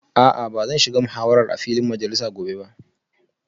A'a ba zan shiga muhawarar a filin majalisa gobe ba